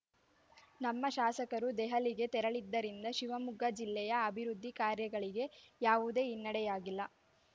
ನಮ್ಮ ಶಾಸಕರು ದೆಹಲಿಗೆ ತೆರಳಿದ್ದರಿಂದ ಶಿವಮೊಗ್ಗ ಜಿಲ್ಲೆಯ ಅಭಿವೃದ್ದಿ ಕಾರ್ಯಗಳಿಗೆ ಯಾವುದೇ ಹಿನ್ನಡೆಯಾಗಿಲ್ಲ